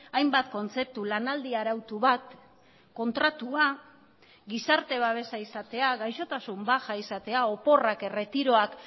hainbat kontzeptu lanaldi arautu bat kontratua gizarte babesa izatea gaixotasun baja izatea oporrak erretiroak